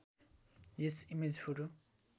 yes image photo